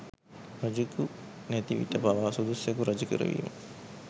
රජෙකු නැතිවිට පවා සුදුස්සෙකු රජකරවීම